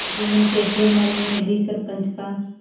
जुम्मन शेख के मन में भी सरपंच का